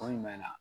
Ko jumɛn na